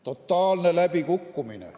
Totaalne läbikukkumine.